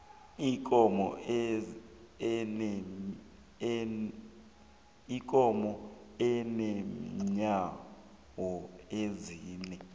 ikomo inenyawo ezine